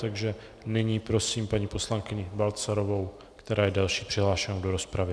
Takže nyní prosím paní poslankyni Balcarovou, která je další přihlášenou do rozpravy.